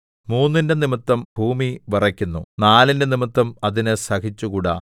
മൂന്നിന്റെ നിമിത്തം ഭൂമി വിറയ്ക്കുന്നു നാലിന്റെ നിമിത്തം അതിന് സഹിച്ചുകൂടാ